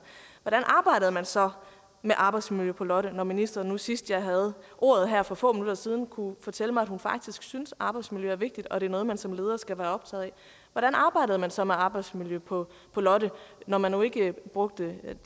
hvordan arbejdede man så med arbejdsmiljø på lotte når ministeren nu sidst jeg havde ordet her for få minutter siden kunne fortælle mig at hun faktisk synes at arbejdsmiljø er vigtigt og er noget man som leder skal være optaget af hvordan arbejdede man så med arbejdsmiljø på lotte når man nu ikke brugte